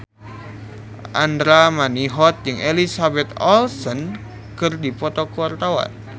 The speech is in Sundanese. Andra Manihot jeung Elizabeth Olsen keur dipoto ku wartawan